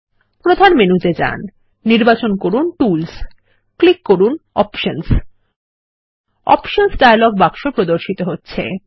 প্রধান মেনুতে যান নির্বাচন করুন টুলস ও ক্লিক করুন অপশনস অপশনস ডায়লগ বাক্স প্রদর্শিত হচ্ছে